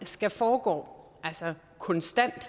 skal foregå konstant